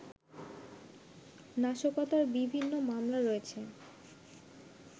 নাশকতার বিভিন্ন মামলা রয়েছে